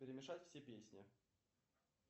перемешать все песни